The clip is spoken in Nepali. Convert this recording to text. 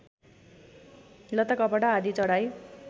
लत्ताकपडा आदि चढाइ